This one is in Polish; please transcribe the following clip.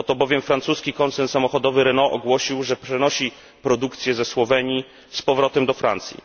Oto bowiem francuski koncern samochodowy Renault ogłosił, że przenosi produkcję ze Słowenii z powrotem do Francji.